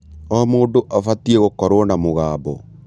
O mũndũ abatie gũkorwo na mũgambo.